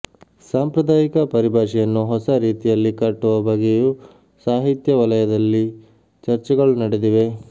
ಸಾಂಪ್ರದಾಯಿಕ ಪರಿಭಾಷೆಯನ್ನು ಹೊಸ ರೀತಿಯಲ್ಲಿ ಕಟ್ಟುವ ಬಗ್ಗೆಯೂ ಸಾಹಿತ್ಯ ವಲಯದಲ್ಲಿ ಚರ್ಚೆಗಳು ನಡೆದಿವೆ